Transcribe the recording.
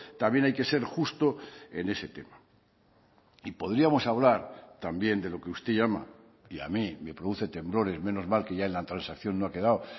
también hay que ser justo en ese tema y podríamos hablar también de lo que usted llama y a mí me produce temblores menos mal que ya en la transacción no ha quedado